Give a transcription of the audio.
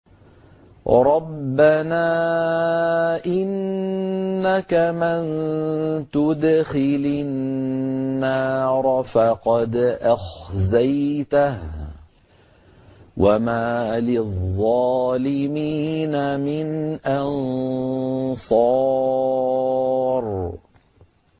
رَبَّنَا إِنَّكَ مَن تُدْخِلِ النَّارَ فَقَدْ أَخْزَيْتَهُ ۖ وَمَا لِلظَّالِمِينَ مِنْ أَنصَارٍ